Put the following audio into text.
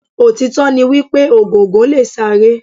Òtítọ́ ni wípé Ògòǹgò lè sáré.